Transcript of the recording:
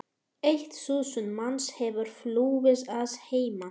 Eitt þúsund manns hefur flúið að heiman.